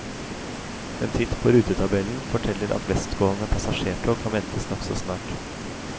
En titt på rutetabellen forteller at vestgående passasjertog kan ventes nokså snart.